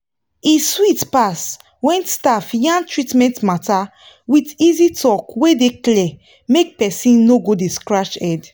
e sweet pass when staff yarn treatment matter with easy talk wey clear make person no dey scratch head.